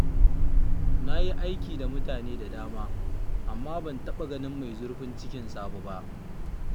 Na yi aiki da mutane da dama, amma ban taɓa ganin mai zurfin cikin Sabo ba